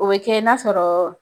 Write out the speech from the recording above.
O bi kɛ n'a sɔrɔ